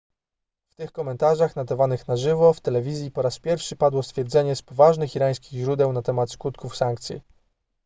w tych komentarzach nadawanych na żywo w telewizji po raz pierwszy padło stwierdzenie z poważnych irańskich źródeł na temat skutków sankcji